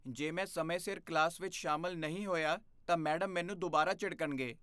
ਜੇ ਮੈਂ ਸਮੇਂ ਸਿਰ ਕਲਾਸ ਵਿੱਚ ਸ਼ਾਮਲ ਨਹੀਂ ਹੋਇਆ, ਤਾਂ ਮੈਡਮ ਮੈਨੂੰ ਦੁਬਾਰਾ ਝਿੜਕਣਗੇ ।